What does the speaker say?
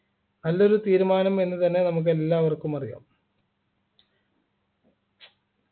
നല്ലൊരു തീരുമാനം എന്ന് തന്നെ നമുക്ക് എല്ലാവർക്കും അറിയാം